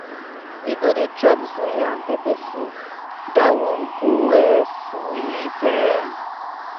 We go dey chop suya and pepper soup, dat one go[um] sweet um.